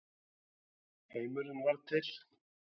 Heimurinn varð til.